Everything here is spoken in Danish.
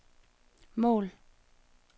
mål